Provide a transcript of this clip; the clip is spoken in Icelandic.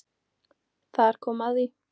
Þar kom að því